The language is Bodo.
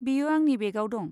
बेयो आंनि बेगआव दं।